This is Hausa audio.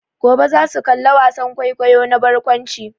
Gobe za su kalla wasan kwaikwayo na barkwanci.